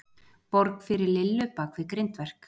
Borg fyrir Lillu bakvið grindverk.